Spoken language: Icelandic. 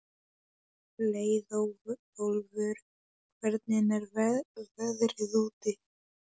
Leiðólfur, hvernig er veðrið úti?